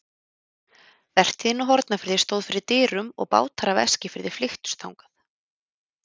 Vertíðin á Hornafirði stóð fyrir dyrum og bátar af Eskifirði flykktust þangað.